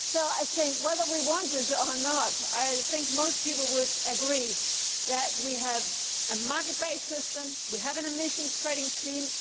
I think that, whether we want it or not, most people would agree that we have a market based system, we have an emissions trading scheme.